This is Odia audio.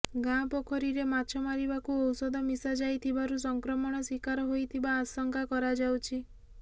ଗାଁ ପୋଖରୀ ରେ ମାଛ ମାରିବାକୁ ଓୌଷଧ ମିଶା ଯାଇଥିବାରୁ ସଂକ୍ରମଣ ଶୀକାର ହୋଇଥିବା ଆଶଙ୍କା କରାଯାଉଛି